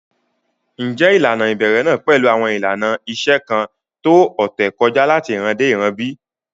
Ǹjẹ́ ilànà ibèrè náà pẹ̀lú awọn ilànà ìṣẹ̀ kan tó ọ̀tẹ̀ kọja lati ìràn dé ìràn bí?